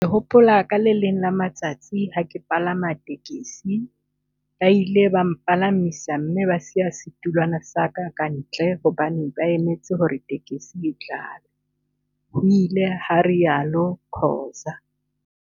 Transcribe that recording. "Ke hopola ka le leng la matsatsi ha ke palama tekesi, ba ile ba mpalamisa mme ba siya setulwana sa ka kantle hobane ba emetse hore tekesi e tlale," ho ile ha rialo Khoza.